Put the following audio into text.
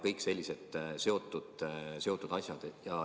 Kõik sellised sellega seotud asjad.